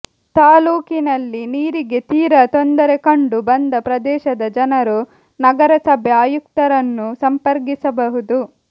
ತಾಲ್ಲೂಕಿನಲ್ಲಿ ನೀರಿಗೆ ತೀರಾ ತೊಂದರೆ ಕಂಡು ಬಂದ ಪ್ರದೇಶದ ಜನರು ನಗರಸಭೆ ಆಯುಕ್ತರನ್ನು ಸಂಪರ್ಕಿಸಬಹುದು